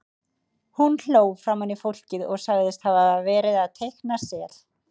Hún hló framan í fólkið og sagðist hafa verið að teikna sel.